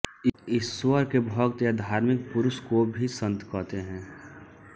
ईश्वर के भक्त या धार्मिक पुरुष को भी सन्त कहते हैं